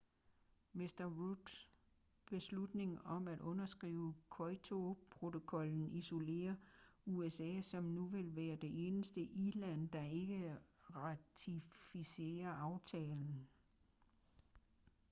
mr rudds beslutning om at underskrive kyoto-protokollen isolerer usa som nu vil være det eneste i-land der ikke ratificerer aftalen